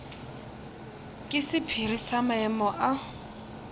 ke sephiri sa maemo a